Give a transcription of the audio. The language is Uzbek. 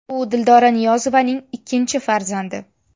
U Dildora Niyozovaning ikkinchi farzandi.